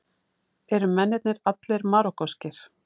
Eru mennirnir allir Marokkóskir